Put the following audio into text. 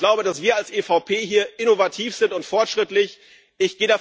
Ich glaube, dass wir als EVP hier innovativ und fortschrittlich sind.